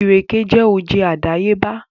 Ìrèké jẹ́ oje àdàyébá